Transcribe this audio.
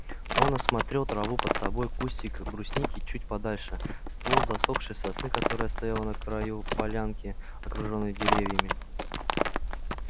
он осмотрел траву под собой кустик брусники чуть подальше ствол засохшей сосны которая стояла на краю полянки окружённой деревьями